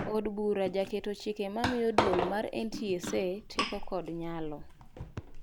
Od bura jaketo chike mamiyo duol mar NTSA teko kod nyalo